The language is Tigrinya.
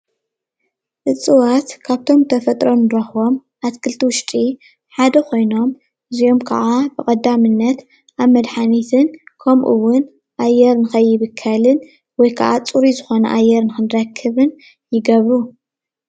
እፅዋት ካብቶም ተፈጥሮ እንረክቦም አትክልቲ ውሽጢ ሓደ ኮይኖም እዚኦም ከዓ ብቀዳምነት አብ መድሓኒትን ከምኡ እዉን አየር ንከይብከልን ወይ ከዓ ፁሩይ ዝኮነ ንአየር ንክንረክብን ይገብሩ፡፡